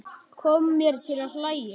Kom mér til að hlæja.